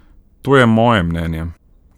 To je moje mnenje!